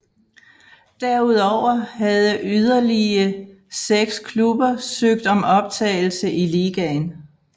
Derudover havde yderlige seks klubber søgt om optagelse i ligaen